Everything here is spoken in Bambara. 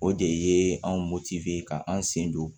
O de ye anw moti ka an sen don